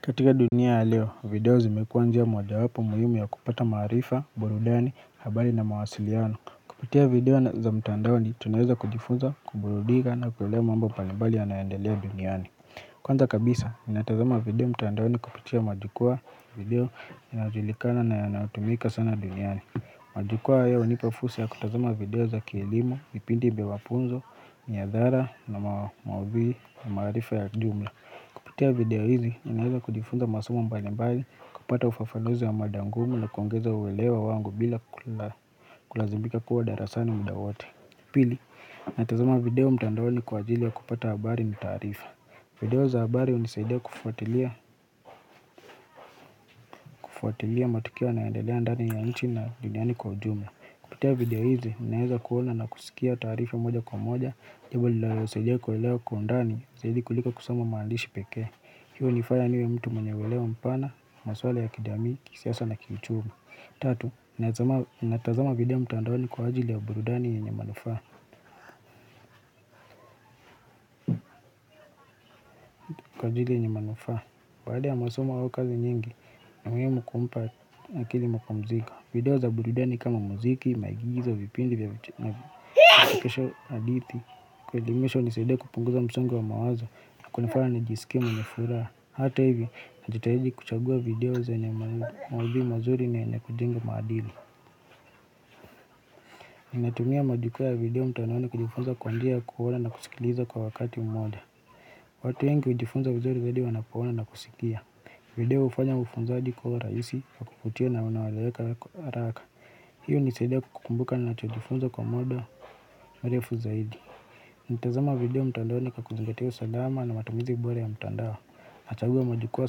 Katika dunia leo, video zimekuwa njia mojawapo muhimu ya kupata maarifa, burudani, habari na mawasiliano. Kupitia video za mtandaoni, tunaweza kujifunza, kuburudika na kuelewa mambo mbalimbali yanaendelea duniani. Kwanza kabisa, ninatazama video mtandaoni kupitia majukwa video inayojulikana na yanayotumika sana duniani. Majikwa hayo hunipa fursa ya kutazama video za kilimo, vipindi vwa mafunzo, nyadhara na mawavi ya maarifa ya kijumla. Kupitia video hizi, ninaweza kujifunza masomo mbali mbali, kupata ufafanuzi wa mada ngumu na kuongeza uwelewa wangu bila kulazimika kuwa darasani muda wote Pili, natazama video mtandaoni kwa ajili wa kupata habari na taarifa video za habari hunisaidia kufuatilia matukio yanayoendelea ndani ya nchi na duniani kwa ujumla Kupitia video hizi, ninaweza kuona na kusikia taarifa moja kwa moja, jambo lilalonisaidia kuelewa kwa ndani, zaidi kulika kusoma maandishi peke hiyo hunifanya niwe mtu mwenye uwelewa mpana, maswala ya kijamii, kisiasa na kiuchumi Tatu, natazama video mtandaoni kwa ajili ya burudani yenye manufa Kwa ajili yenye manufa, baada ya masomo au kazi nyingi ni muhimu kumpa akili mapumziko video za burudani kama muziki, maigizo, vipindi, na vichekesho hadithi Kuelimishwa hunisaidia kupunguza msongo wa mawazo na kunifanya nijisikie mwenye furaha Hata hivi, najitahidi kuchagua video zenye maudhui mazuri na yenye kujenga maadili. Ninatumia majukwa ya video mtandaoni kujifunza kwa njia kuona na kusikiliza kwa wakati mmoja. Watu wengi hujifunza vizuri zaidi wanapoona na kusikia. Video hufanya ufunzaji kuwa rahisi wa kuvutia na unaoeleweka haraka. Hiyo hunisaidia kukumbuka ninachojifunza kwa muda mrefu zaidi. Natazama video mtandaoni kwa kuzingatia usalama na matumizi bora ya mtandao. Nachagua majukwa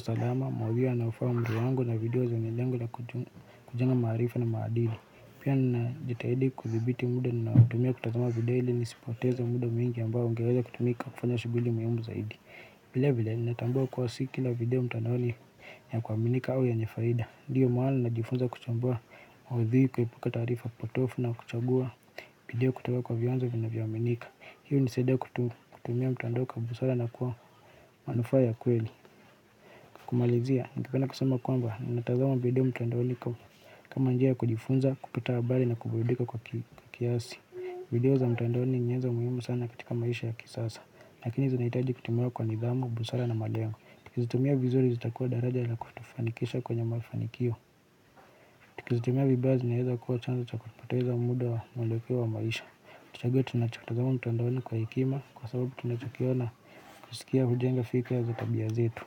salama, maudhui yanayofaa umri wangu na video zenye lengo ya kujenga maarifa na maadili Pia ninajitahidi kudhibiti muda na kutumia kutazama video ili nisipoteza muda mingi ambao ningeweza kutumika kufanya shughuli muhimu zaidi vile vile ninatambua kuwa si kila video mtandaoni ya kuaminika au yenye faida Ndiyo mahali najifunza kuchambua maudhui kuepuka taarifa potovu na kuchagua video kutoka kwa vianzo vinavyoaminika Hii hunisaidia kutumia mtandao kwa busara na kuwa manufaa ya kweli kumalizia, ningependa kusema kwamba, ninatazama video mtandaoni kama njia ya kujifunza, kupata habari na kuburidika kwa kiasi video za mtandaoni ni nyenzo muhimu sana katika maisha ya kisasa Lakini zinahitaji kutumiwa kwa nidhamu, busara na malengo Tukizitumia vizuri zitakuwa daraja la kutufanikisha kwenye mafanikio Tukizitumia vibaya zinaeza kuwa chanzo cha kupoteza muda wa mweleo wa maisha Tuchague tunachotazama mtandaoni kwa hekima kwa sababu tunachokiona na kusikia hujenga fikra za tabia zetu.